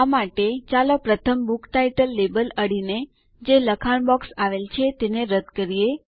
આ માટે ચાલો પ્રથમ બુક ટાઇટલ લેબલ અડીને જે લખાણ બોક્સ આવેલ છે તેને દૂર કરીએ